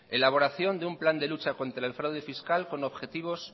elaboración un plan de lucha contra el fraude fiscal con objetivos